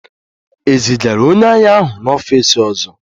E zigara onye agha ahụ n'ọfịs ọzọ?